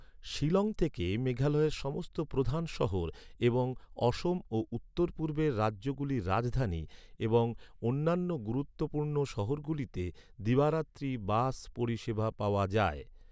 শিলং থেকে মেঘালয়ের সমস্ত প্রধান শহর এবং অসম ও উত্তর পূর্বের রাজ্যগুলির রাজধানী এবং অন্যান্য গুরুত্বপূর্ণ শহরগুলিতে দিবারাত্রি বাস পরিষেবা পাওয়া যায়।